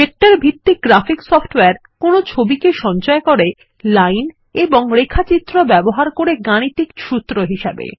vector ভিত্তিক graphics software কোনো ছবিকে সঞ্চয় করে লাইন এবং রেখাচিত্র ব্যবহার করে গাণিতিক সূত্র হিসাবে